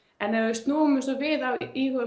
en ef við snúum þessu við og íhugum